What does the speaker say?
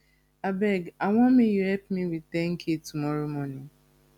abeg i wan make you help me with 10k tomorrow morning